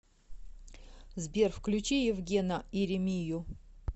сбер включи евгена иримию